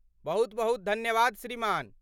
बहुत बहुत धन्यवाद श्रीमान।